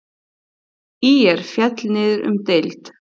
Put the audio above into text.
ÍR féll niður um deild.